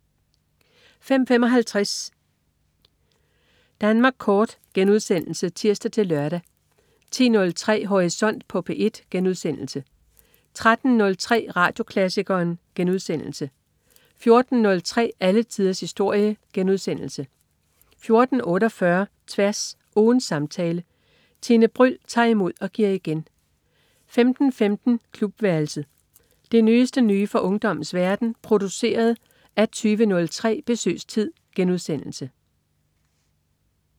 05.55 Danmark Kort* (tirs-lør) 10.03 Horisont på P1* 13.03 Radioklassikeren* 14.03 Alle tiders historie* 14.48 Tværs. Ugens samtale. Tine Bryld tager imod og giver igen 15.15 Klubværelset. Det nyeste nye fra ungdommens verden, produceret af 20.03 Besøgstid*